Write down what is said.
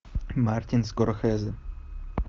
мартин скорсезе